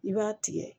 I b'a tigɛ